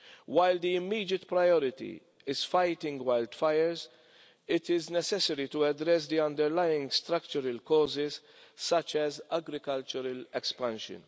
While the immediate priority is fighting wildfires, it is necessary to address the underlying structural causes, such as agricultural expansion.